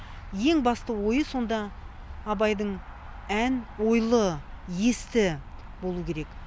ең басты ойы сонда абайдың ән ойлы есті болу керек